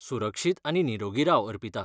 सुरक्षीत आनी निरोगी राव अर्पिता.